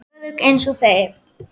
Örugg einsog þær.